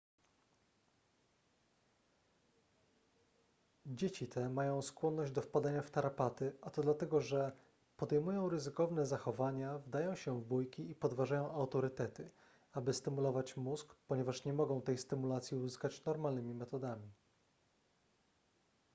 dzieci te mają skłonność do wpadania w tarapaty a to dlatego że podejmują ryzykowne zachowania wdają się w bójki i podważają autorytety aby stymulować mózg ponieważ nie mogą tej stymulacji uzyskać normalnymi metodami